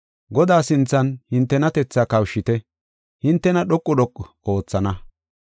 Godaa sinthan hintenatethaa kawushite; hintena dhoqu dhoqu oothana.